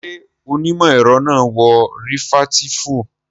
Ṣé onímọ̀ ẹ̀rọ náà wọ rìfẹ̀ẹ́tíìfù?